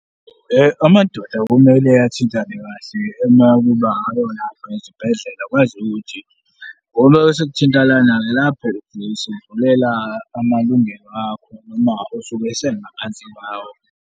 Amadoda kumele athintane kahle uma kuba esibhedlela, kwaziwe ukuthi ngoba esekuthinta lana-ke, lapho besendlulela amalungelo akho noma usuke esengaphansi kwawo.